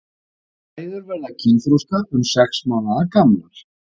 Læður verða kynþroska um sex mánaða gamlar.